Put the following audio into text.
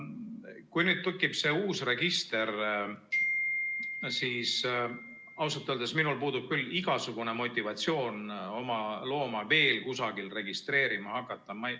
Kui nüüd tekib see uus register, siis ausalt öeldes minul puudub küll igasugune motivatsioon oma looma veel kusagil registreerima hakata.